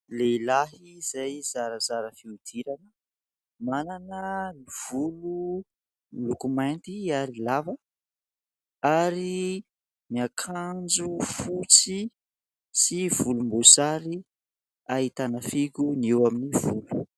Lehilahy izay zarazara fihodirana. Manana ny volo miloko mainty ary lava ary miakanjo fotsy sy volombosary ahitana fihogo ny eo amin'ny volo.